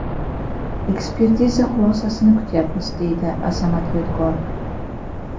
Ekspertiza xulosasini kutayapmiz, deydi Azamat Yodgorov.